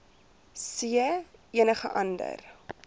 c enige ander